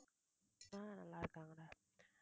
ஆஹ் நல்லாருக்காங்கடா